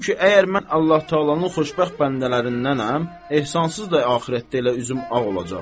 Çünki əgər mən Allah-Təalanın xoşbəxt bəndələrindənəm, ehsansız da axirətdə elə üzüm ağ olacaq.